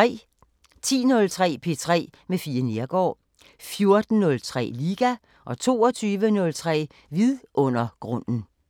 10:03: P3 med Fie Neergaard 14:03: Liga 22:03: Vidundergrunden